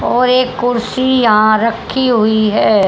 और एक कुर्सी यहां रखी है।